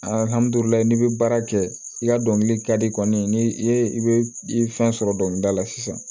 n'i bɛ baara kɛ i ka dɔnkili ka di kɔni n'i ye i bɛ i fɛn sɔrɔ dɔnkilida la sisan